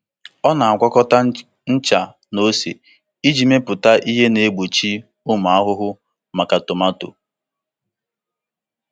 Ọ na-agwakọta ncha na ose iji mepụta ihe na-egbochi ụmụ ahụhụ maka tomato.